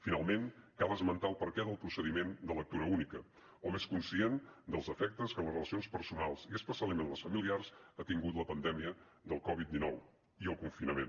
finalment cal esmentar el perquè del procediment de lectura única hom és conscient dels efectes que en les relacions personals i especialment les familiars han tingut la pandèmia del covid dinou i el confinament